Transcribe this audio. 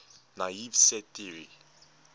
naive set theory